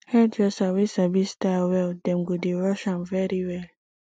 hairdresser wey sabi style well dem go dey rush am very well